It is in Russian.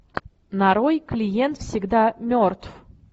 нарой клиент всегда мертв